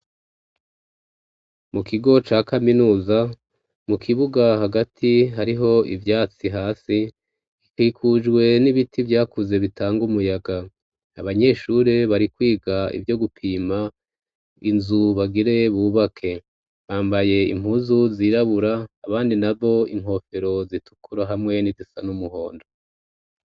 Mu kigo ca kaminuza, mu kibuga hagati hariho ivyatsi hasi, bikikujwe n'ibiti vyakuze bitanga umuyaga. Abanyeshuri bari kwiga ivyo gupima inzu bagire bubake. Bambaye impuzu zirabura abandi na bo inkofero zitukura hamwe n'ibisa n'umuhondo.